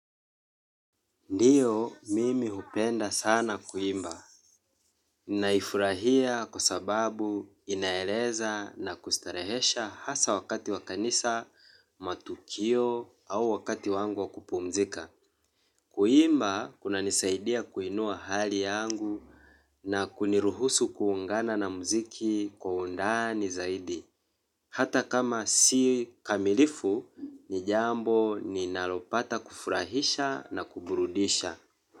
Ndio, mimi hupenda sana kuimba. Naifurahia kwa sababu inaeleza na kustarehesha hasa wakati wa kanisa, matukio au wakati wangu wa kupumzika. Kuimba, kunanisaidia kuinua hali yangu na kuniruhusu kuungana na muziki kwa undani zaidi. Hata kama si kamilifu, ni jambo ninalopata kufurahisha na kuburudisha.